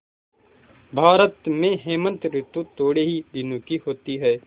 भारत में हेमंत ॠतु थोड़े ही दिनों की होती है